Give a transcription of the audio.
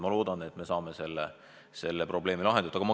Ma loodan, et me saame selle probleemi lahendatud.